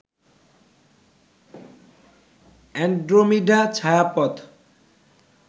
Andromeda ছায়াপথ